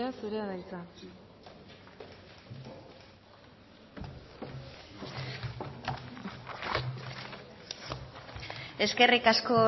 zurea da hitza eskerrik asko